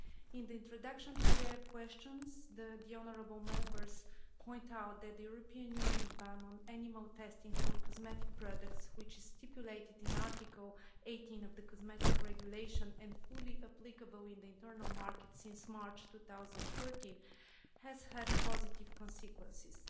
In the introduction to their questions, the honourable Members point out that the European Union ban on animal testing for cosmetic products, which is stipulated in Article 18 of the Cosmetics Regulation, and fully applicable in the Internal Market since March 2013, has had positive consequences.